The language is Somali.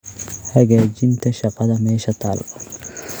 Hagaajinta shaqada meesha taal.